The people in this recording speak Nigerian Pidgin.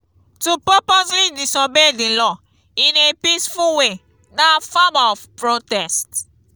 to purposely disobey di law in a peaceful way na form of protest